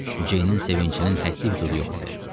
Ceynin sevincinin həddi-hüdudu yox idi.